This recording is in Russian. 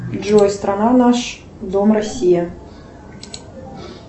джой страна наш дом россия